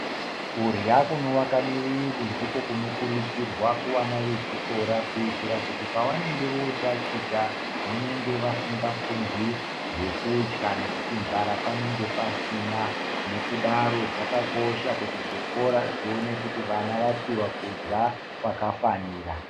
Kurya kuno waka mu wiri ndiko kuno kurudzirwa kuvana ve chikora kuitira kuti pa vanenge vo taticha vanenge vasinga fungi zvekudya nekuti nzara panenge pasina nekudaro zvaka kosha kuti zvikora zvione kuti vana vapihwa kudya kwaka fanira.